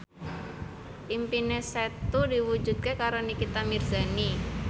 impine Setu diwujudke karo Nikita Mirzani